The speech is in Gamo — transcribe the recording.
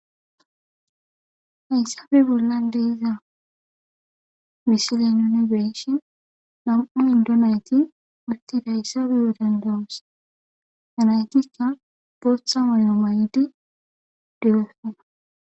Hayssappe bollan diza misile nuni beyishshin nam'u indo nayti utidayissa beyo dandayoss ha natikka boththa mayo mayidi de'osonna